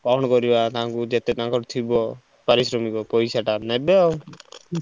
କଣ କରିଆ ତାଙ୍କୁ ତାଙ୍କର ଯେତେ ଥିବ ପାରିଶ୍ରମିକ ପଇସା ଟା ନେବେ ଆଉ।